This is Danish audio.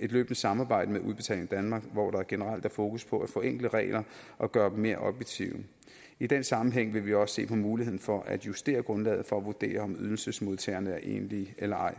et løbende samarbejde med udbetaling danmark hvor der generelt er fokus på at forenkle regler og gøre dem mere objektive i den sammenhæng vil vi også se på muligheden for at justere grundlaget for at vurdere om ydelsesmodtagerne er enlige eller ej